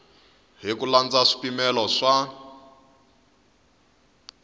hi ku landza swipimelo swa